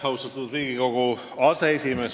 Austatud Riigikogu aseesimees!